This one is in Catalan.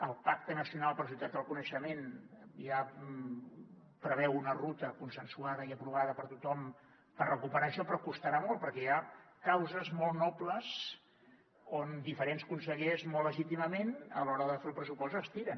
el pacte nacional per a la societat del coneixement ja preveu una ruta consensuada i aprovada per tothom per recuperar això però costarà molt perquè hi ha causes molt nobles on diferents consellers molt legítimament a l’hora de fer el pressupost estiren